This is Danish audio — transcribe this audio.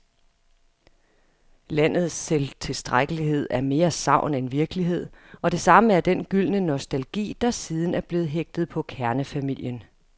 Landets selvtilstrækkelighed er mere sagn end virkelighed, og det samme er den gyldne nostalgi, der siden er blevet hægtet på kernefamilien.